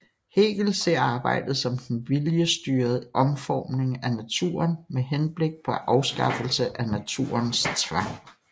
Hegel ser arbejdet som den viljesstyrede omformning af naturen med henblik på afskaffelse af naturens tvang